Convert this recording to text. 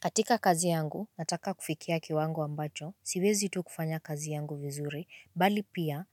Katika kazi yangu, nataka kufikia kiwango ambacho, siwezi tu kufanya kazi yangu vizuri, bali pia